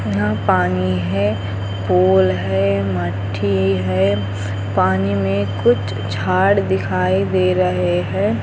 यहाँ पानी है पोल है मठी है पानी में कुछ झाड़ दिखाई दे रहे है।